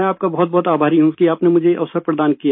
मैं आपका बहुतबहुत आभारी हूँ कि आपने मुझे ये अवसर प्रदान किया